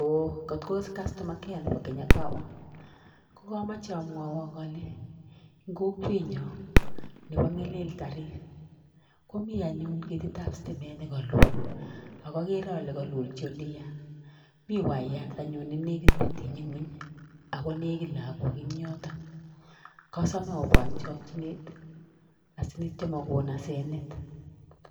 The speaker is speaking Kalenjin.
ooh katos ka customer care nebo Kenya power? Ko komoche amwawok ale en kokwenyon nebo Ng'elel tarit komi anyun ketit ab sitimet ne kalul. Ago ogere ole kolulchi ole yaa. Mi wayat anyun ne negit kotiny ngweny ago negit lagok en yoto, kosome obwan en chokinet asikityo komakon hasenet."